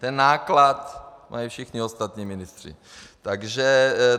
Ten náklad mají všichni ostatní ministři.